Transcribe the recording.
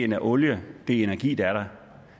den olie den energi der er der